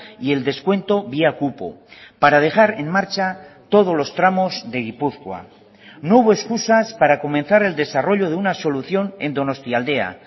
y el descuento vía cupo para dejar en marcha todos los tramos de gipuzkoa no hubo excusas para comenzar el desarrollo de una solución en donostialdea